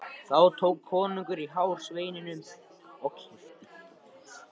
Þá tók konungur í hár sveininum og kippti.